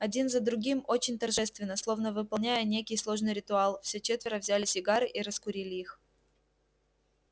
один за другим очень торжественно словно выполняя некий сложный ритуал все четверо взяли сигары и раскурили их